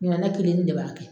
Mina nɛ kelen n de b'a kɛ.